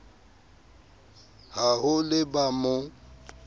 ha ho le ba mo